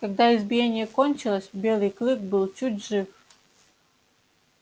когда избиение кончилось белый клык был чуть жив